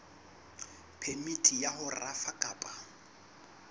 phemiti ya ho rafa kapa